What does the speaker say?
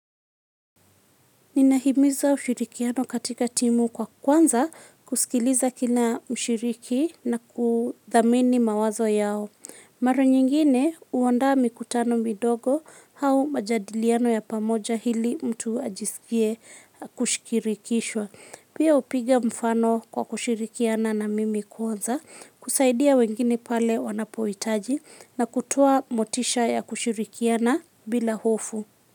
Ninahimiza ushirikiano katika timu kwa kwanza kusikiliza kila mshiriki na kuthamini mawazo yao. Mara nyingine huandaa mikutano midogo au majadiliano ya pamoja ili mtu ajisikie kushirikishwa. Pia hupiga mfano kwa kushirikiana na mimi kwanza kusaidia wengine pale wanapohitaji na kutoa motisha ya kushirikiana bila hofu.